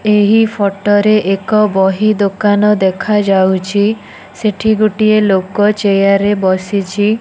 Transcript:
ଏହି ଫଟ ରେ ଏକ ବହି ଦୋକାନ ଦେଖା ଯାଉଛି। ସେଠି ଗୋଟିଏ ଲୋକ ଚେୟାର ବସିଛି।